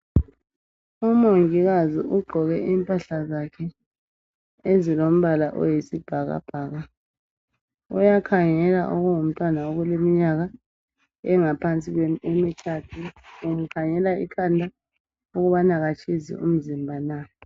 Umongikazi ugqoke impahla zakhe ezilombala oyisibhakabhaka. Uyakhangela okungumntwana okuleminyaka engaphansi kwemithathu umkhangela ikhanda ukubana akatshisi umzimba na